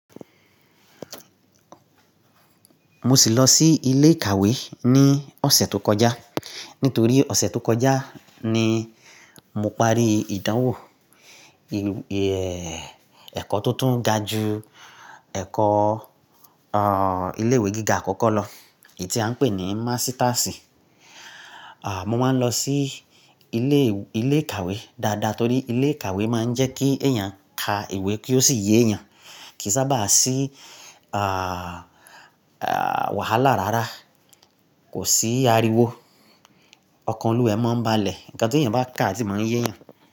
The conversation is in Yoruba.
Mo sì lọ sí ilé ìkàwé ní ọ̀sẹ̀ tó kọjá. Nítorí ọ̀sẹ̀ tó kọjá ni mo parí ìdánwò ẹ̀kọ́ tó tún ga ju ẹ̀kọ́, o, ilé ìwé gíga àkọ́kọ́ lọ, èyí tí a ń pè ní mástásì. A, mo máa ń lọ sí ilé, ilé ìkàwé dáadáa torí ilé ìkàwé máa ń jẹ́ kí èèyàn ka ìwé kí ó sì yé ẹyàn, kì í sábà sí, a, a, wàhálà rárá, kò sí ariwo, ọkan olúwẹ̀ẹ́ máa ń balẹ̀, nǹkan tó ìyẹn bá kà tí máa ń yé ẹyàn.